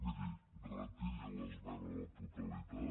miri retiri l’esmena a la totalitat